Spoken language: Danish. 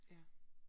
Ja